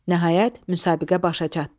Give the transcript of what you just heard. Nəhayət, müsabiqə başa çatdı.